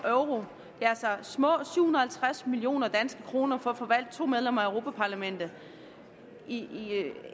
altså små syv hundrede og tres million kroner for at få valgt to medlemmer af europa parlamentet